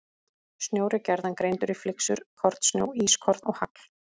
Snjór er gjarnan greindur í flyksur, kornsnjó, ískorn og hagl.